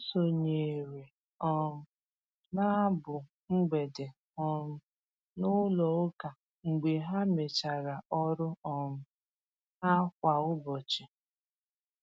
Ha sonyeere um na abụ mgbede um n'ụlọ ụka mgbe ha mechara ọrụ um ha kwa ụbọchị.